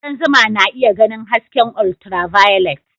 Kudan zuma na iya ganin hasken ultraviolet